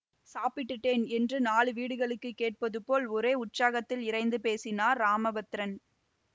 சாப்பிட்டுட்டேன் என்று நாலு வீடுகளுக்குக் கேட்பதுபோல் ஒரே உற்சாகத்தில் இரைந்து பேசினார் ராமபத்திரன்